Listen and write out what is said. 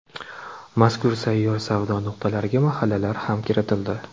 Mazkur sayyor savdo nuqtalariga mahallalar ham kiritildi.